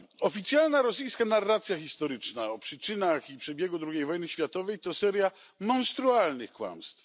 Oficjalna rosyjska narracja historyczna o przyczynach i przebiegu drugiej wojny światowej to seria monstrualnych kłamstw.